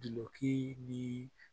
Duki ni